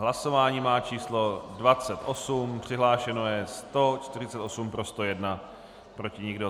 Hlasování má číslo 28, přihlášeno je 148, pro 101, proti nikdo.